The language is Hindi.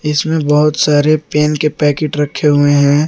इसमें बहुत सारे पेन के पैकेट रखे हुए हैं।